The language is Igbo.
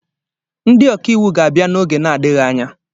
Ndị ọkàiwụ ga-abịa n'oge na-adịghị anya